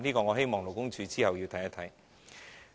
我希望勞工處稍後要跟進。